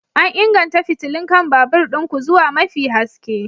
An inganta fitilun kan babur ɗin ku zuwa mafi haske?